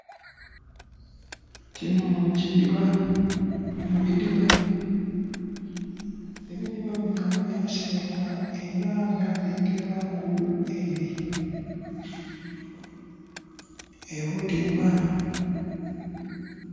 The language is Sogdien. Kino kidiba, bino bidiba. Ebidiba bino byasimibwa era byazingirwaku obutimba